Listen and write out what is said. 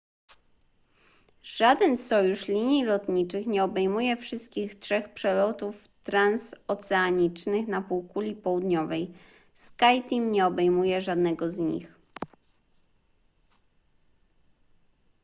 żaden sojusz linii lotniczych nie obejmuje wszystkich trzech przelotów transoceanicznych na półkuli południowej skyteam nie obejmuje żadnego z nich